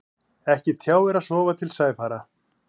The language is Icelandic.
Ekki tjáir að sofa til sæfara.